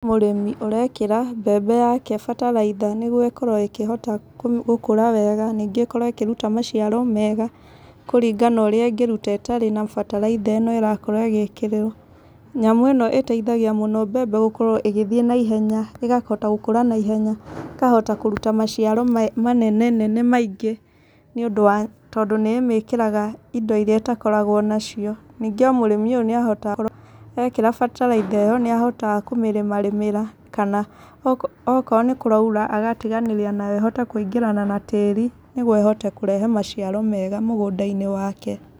Mũrĩmi ũrekĩra mbembe yake bataraitha, nĩguo ĩkorwo ĩkĩhota gũkũra wega, ningĩ ĩkorwo ĩkĩruta maciaro mega, kũringana na ũrĩa ĩngĩruta ĩtarĩ na bataraitha ĩno ĩrakorwo ĩgĩkĩrĩrwo. Nyamũ ĩno ĩteithagia mũno mbembe gũkorwo ĩgĩthiĩ naihenya, ĩgahota gũkũra naihenya, ĩkahota kũruta maciaro manene nene maingĩ nĩ ũndũ wa tondũ nĩ ĩmĩkĩraga indo irĩa itakoragwo nacio. Nyingĩ ona mũrĩmi ũyũ ekĩra bataraitha ĩyo, nĩ ahotaga kũmĩrĩmarĩmĩra. Kana okorwo nĩ kũraura, agatigana nayo nĩguo ĩhote kũingĩrana na tĩri nĩguo ĩhote kũrehe maciaro mega mũgũnda-inĩ wake.